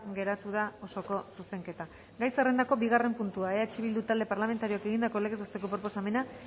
geratu da osoko zuzenketa gai zerrendako bigarren puntua eh bildu talde parlamentarioak egindako legez besteko proposamena